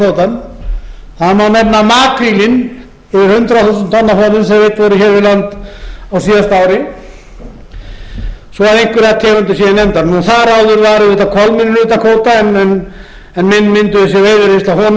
kvótann það má nefna makrílinn yfir hundrað þúsund tonn af honum sem veidd voru hér við land á síðasta ári svo að einhverjar tegundir séu nefndar þar áður var auðvitað kolmunninn utan kvóta en menn mynduðu sér veiðireynslu af